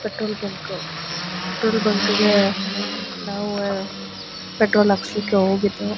Petrol bunk petrol bunk ಗೆ ಅಹ್ ನಾವ ಪೆಟ್ರೋಲ್ ಹಾಕ್ಸ್ಲಿಕ್ಕೆ ಹೊಗಿದ್ದೊ.